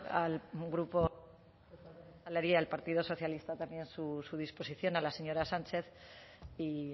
al grupo y al partido socialista también su disposición a la señora sánchez y